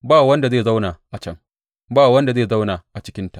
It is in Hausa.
Ba wanda zai zauna a can; ba wanda zai zauna a cikinta.